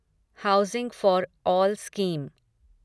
housing for all scheme